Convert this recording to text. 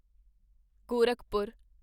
Gorakhpur